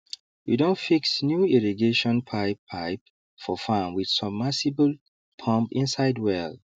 we don fix new irrigation pipe pipe for farm with submersible pump inside well